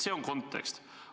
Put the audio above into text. See on kontekst.